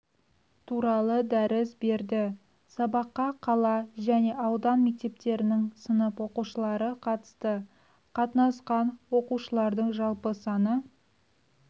туралы дәріс берді сабаққа қала және аудан мектептерінің сынып оқушылары қатысты қатынасқан оқушылардың жалпы саны